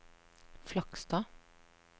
Flakstad